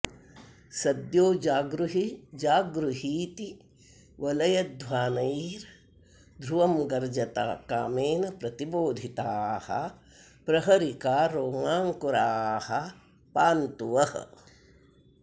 सद्यो जागृहि जागृहीति वलयध्वानैर्ध्रुवं गर्जता कामेन प्रतिबोधिताः प्रहरिका रोमाङ्कुराः पान्तु वः